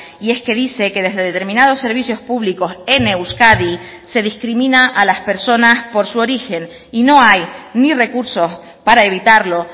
y es que dice que desde determinados servicios públicos en euskadi se discrimina a las personas por su origen y no hay ni recursos para evitarlo